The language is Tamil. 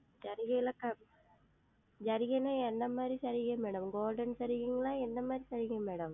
ஜரிகைல்லாம் ஜரிகைல்லாம் என்னமாறி ஜரிகை MadamGolden ஜரிகைங்களா? எந்தமாறி ஜரிகை Madam